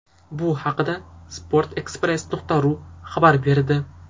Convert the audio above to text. Bu haqida sport-express.ru xabar berdi .